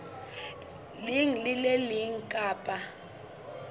leng le le leng kapa